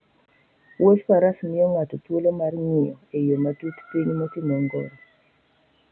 Wuodh faras miyo ng'ato thuolo mar ng'iyo e yo matut piny motimo ongoro.